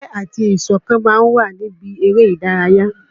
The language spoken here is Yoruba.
Ìfẹ́ àti ìṣọ̀kan ma ń wà níbi erè ìdárayá.